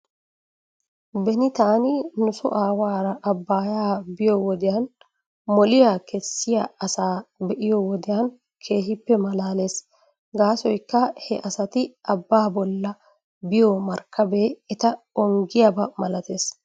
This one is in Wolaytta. Beni taani nuso aawaara abaayaa biyoo wodiyan moliyaa kessiyaa asaa be'iyoo wodiyan keehippe malaales. Gaasoykka he asati abaa bolla biyoo markkabee eta ongiigiyaaba milatees.